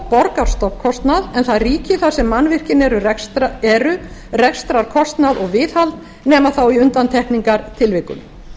borgar stofnkostnað en það ríki þar sem mannvirkin eru rekstrarkostnað og viðhald nema þá í undantekningartilvikum